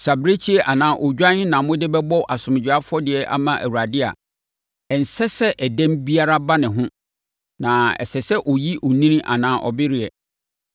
“ ‘Sɛ abirekyie anaa odwan na mode bɛbɔ asomdwoeɛ afɔdeɛ ama Awurade a, ɛnsɛ sɛ ɛdɛm biara ba ne ho na ɛsɛ sɛ ɔyɛ onini anaa ɔbereɛ.